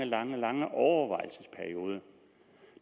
lange lange overvejelsesperiode